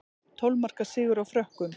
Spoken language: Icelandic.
Tólf marka sigur á Frökkum